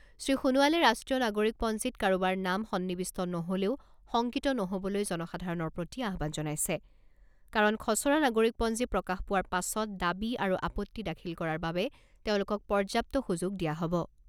শ্ৰী সোণোৱালে ৰাষ্ট্ৰীয় নাগৰিকপঞ্জীত কাৰোবাৰ নাম সন্নিৱিষ্ট নহলেও শংকিত নহবলৈ জনসাধাৰণৰ প্ৰতি আহ্বান জনাইছে কাৰণ খছৰা নাগৰিকপঞ্জী প্ৰকাশ পোৱাৰ পাছত দাবী আৰু আপত্তি দাখিল কৰাৰ বাবে তেওঁলোকক পৰ্যাপ্ত সুযোগ দিয়া হব।